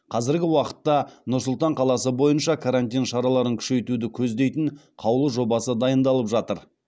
қазіргі уақытта нұр сұлтан қаласы бойынша карантин шараларын күшейтуді көздейтін қаулы жобасы дайындалып жатыр